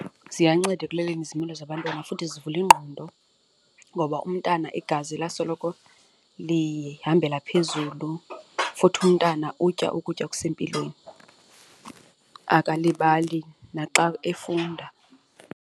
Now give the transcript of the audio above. Ziyanceda ekuloleni izimilo zabantwana futhi zivula ingqondo ngoba umntana igazi lasoloko lihambela phezulu futhi umntana utya ukutya okusempilweni akalibali naxa efunda.